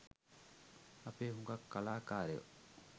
අපේ හුගක් කලාකාරයෝ